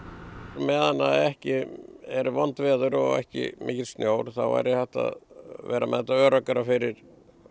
meðan ekki eru vond veður og ekki mikill snjór þá væri hægt að vera með þetta öruggara fyrir